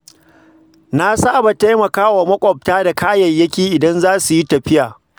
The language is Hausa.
Na saba taimakawa maƙwabta da kayayyaki idan zasu yi tafiya.